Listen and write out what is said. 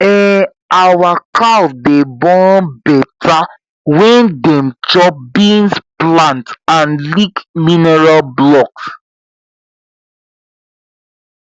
um our cow dey born better when dem chop beans plant and lick mineral blocks